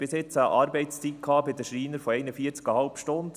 Wir haben bis jetzt bei den Schreinern eine Arbeitszeit von 41,5 Stunden.